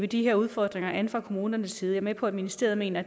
de her udfordringer an fra kommunernes side jeg er med på at ministeriet mener